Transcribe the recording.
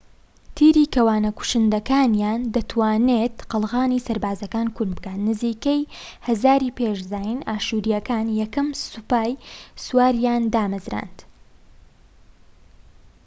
تیری کەوانە کوشندەکانیان دەتوانێت قەڵغانی سەربازەکان کون بکات. نزیکەی ١٠٠٠ ی پێش زاین ئاشوریەکان یەکەم سوپای سوارەیان دامەزراند